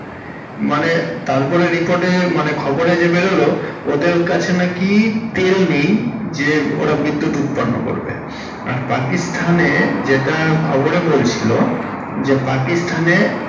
মানে তারপর record এ মানে খবরে যে বেড়োলো ওদের কাছে নাকি তেল নেই যে ওরা বিদ্যূত উৎপন্ন করবে। আর পাকিস্তান এ যেটা খবরে বলছিলো যে পাকিস্তান এ।